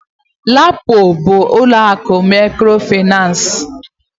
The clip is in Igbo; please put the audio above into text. LAPO bu ụlọakụ mikrofinansi.